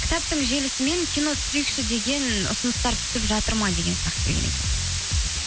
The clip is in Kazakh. кітаптың желісімен кино түсірейікші деген ұсыныстар түсіп жатыр ма деген сұрақ келген екен